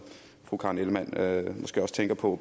fru karen ellemann måske også tænker på